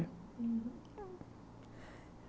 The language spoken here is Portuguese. Uhum...